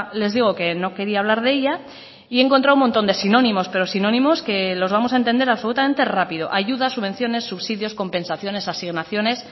les digo que no quería hablar de ella y he encontrado un montón de sinónimos pero sinónimos que los vamos a entender absolutamente rápido ayudas subvenciones subsidios compensaciones asignaciones